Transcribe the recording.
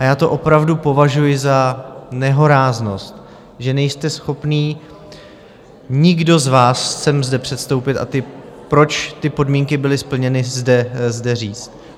A já to opravdu považuji za nehoráznost, že nejste schopni, nikdo z vás, sem zde předstoupit, a proč ty podmínky byly splněny zde říct.